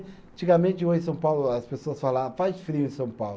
Antigamente hoje em São Paulo, as pessoas fala, ah, faz frio em São Paulo.